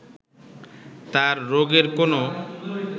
তাঁর রোগের কোনো